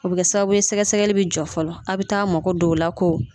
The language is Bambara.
O bi kɛ sababu ye sɛgɛsɛgɛli bi jɔ fɔlɔ a bi t'a mago d'o la ko.